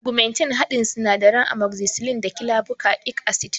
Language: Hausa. Ugmentin haɗin sinadaran amogzisilin da kilabuka ik asid ne